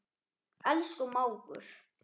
Elsku mágur.